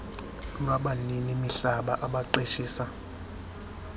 lwabanini mihlaba abaqeshisa